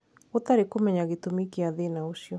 Gutari kũmenya gitũmi kia thina ũcio.